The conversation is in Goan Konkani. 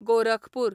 गोरखपूर